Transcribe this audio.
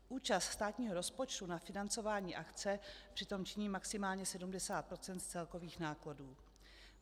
Účast státního rozpočtu na financování akce přitom činí maximálně 70 % z celkových nákladů.